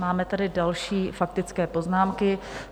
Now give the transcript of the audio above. Máme tady další faktické poznámky.